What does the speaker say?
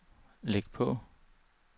læg på